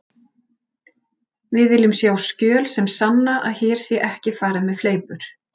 Við viljum sjá skjöl sem sanna að hér sé ekki farið með fleipur.